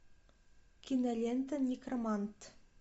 кинолента некромант